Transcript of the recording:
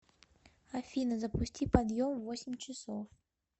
афина запусти подъем в восемь часов